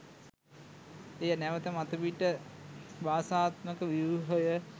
එය නැවත මතුපිට භාෂාත්මක ව්‍යුහය